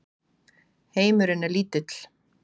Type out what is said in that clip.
Heimurinn er lítill.